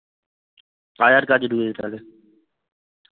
আয়ার কাজে ঢুকেছে তাহলে